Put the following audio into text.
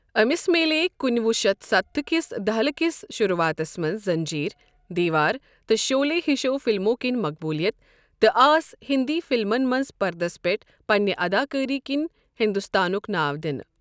أمِس میلیے کُنہٕ وُہ شتھ ستتھ كہِ دہلہِ كِس شروعاتس منز زٔنٛجیٖر، دیٖوار تہٕ شولے ہِشو فِلمو کِنۍ مقبوُلِیت تہٕ آس ہِنٛدی فِلمن منٛز پردس پٮ۪ٹھ پنٛنہِ اَدا کٲری كِنہِ ہِنٛدوستانُک ناو دِنہٕ۔